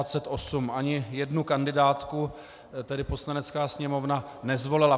Ani jednu kandidátku tedy Poslanecká sněmovna nezvolila.